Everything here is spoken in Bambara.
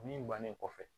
Min bannen kɔfɛ